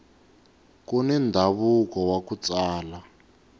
kuni ndhavuko waku tsala